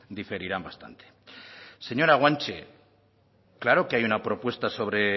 diferirán bastante señora guanche claro que hay una propuesta sobre